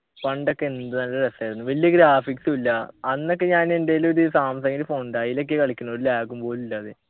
പണ്ടൊക്കെ എന്ത് നല്ല രസായിരുന്നു വെല്യ graphics ഉ ഇല്ല അന്നൊക്കെ ഞാൻ എൻ്റെൽ ഒരു സാംസങ്ൻ്റെ phone ഉണ്ടായി അയിലൊക്കെ കളിക്കുണ് ഒരു lag ഉം പോലും ഇല്ലാതെ